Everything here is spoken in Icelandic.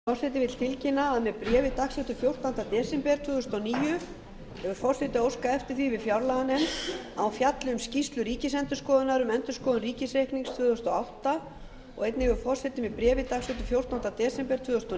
forseti vill tilkynna að með bréfi dagsettu fjórtánda desember tvö þúsund og níu hefur forseti óskað eftir því við fjárlaganefnd að hún fjalli um skýrslu ríkisendurskoðunar um endurskoðun ríkisreiknings tvö þúsund og átta og einnig hefur forseti með bréfi dagsettu fjórtánda desember tvö þúsund og